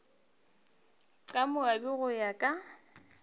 ka moabi go ya ka